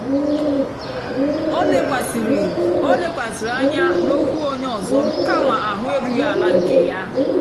ó lékwàsị̀rị́ ó lékwàsị̀rị́ ányá n'ókwú ónyé ọ́zọ́ kámà áhụ̀ érúghị́ àlà nkè yá.